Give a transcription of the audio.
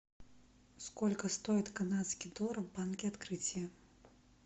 сколько стоит канадский доллар в банке открытие